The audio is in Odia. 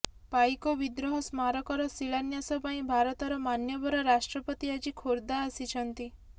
ପାଇକ ବିଦ୍ରୋହ ସ୍ମାରକର ଶିଳାନ୍ୟାସ ପାଇଁ ଭାରତର ମାନ୍ୟବର ରାଷ୍ଟ୍ରପତି ଆଜି ଖୋର୍ଦ୍ଧା ଆସିଛନ୍ତି